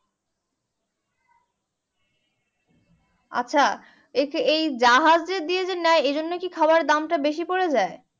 আছে এই যে জাহাজ দিয়ে যে নেয় এইজন্য কি খাবার এর দাম টা বেশি পরে যায়